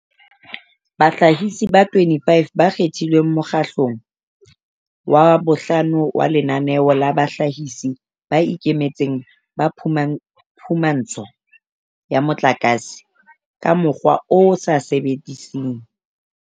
Bahlahisi ba 25 ba kgethilweng mokgahle long wa bohlano wa Lenaneo la Bahlahisi ba Ikemetseng ba Phumantsho ya Motlakase ka Mokgwa o sa Sebediseng